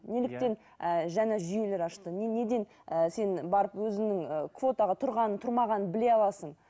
неліктен ііі жаңа жүйелер ашты неден сен барып өзіңнің квотадан тұрған тұрмағаныңды біле аласың